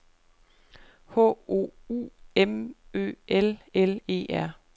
H O U M Ø L L E R